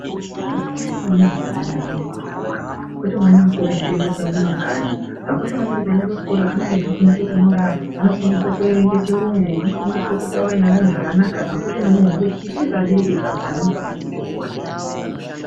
Zvakakosha maningi kuti ana aende kuchikora kwete mwana kuti aswere echitenderera mumakanyi, zvakakosha maningi kuti kuchikora anenge achifundiswa kunyora, anofundiswe kuerenge chirungu, anofundiswe kutaura neamweni zvakanaka, zvakakosha maningi nekuti isusu seabereki ana anofana kuenda kuchikora.